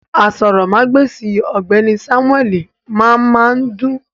Àsòrọmagbesi ọgbẹni Samueli máa máa dùn.